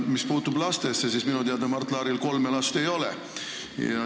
Mis puutub lastesse, siis minu teada Mart Laaril kolme last ei ole.